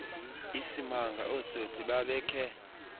isimanga ootsotsi babekhe